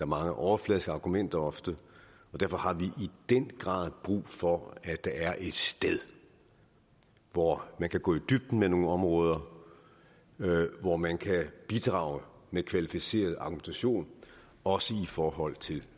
mange overfladiske argumenter og derfor har vi i den grad brug for at der er et sted hvor man kan gå i dybden med nogle områder hvor man kan bidrage med kvalificeret argumentation også i forhold til